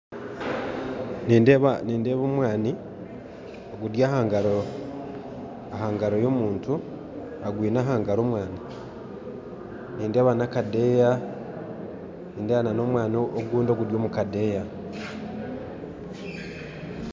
Nindeeba omwani guri aha ngaro, aha ngaro y'omuntu, nindeeba n'akadeeya nindeeba n'omwani ogwijwire akadeeya